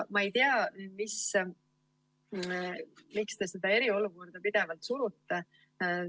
Ma ei tea, miks te seda eriolukorda pidevalt surute.